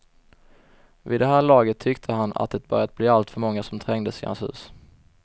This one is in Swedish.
Vid det här laget tyckte han att det börjat bli alltför många som trängdes i hans hus.